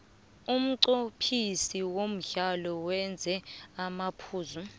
umnqophisi womdlalo wenze amaphutha